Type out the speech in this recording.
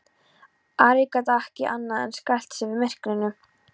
Ari gat ekki annað en skælt sig við myrkrinu.